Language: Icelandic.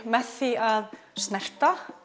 með því að snerta